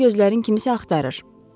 Bayaqdan gözlərin kimsə axtarır.